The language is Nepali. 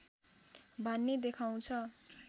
भन्ने देखाउँछ